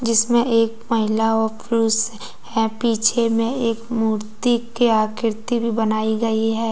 जिसमें एक महिला और पुरुष है पीछे मे एक मूर्ति की आकृति भी बनाई गई है।